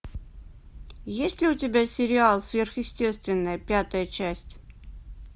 есть ли у тебя сериал сверхъестественное пятая часть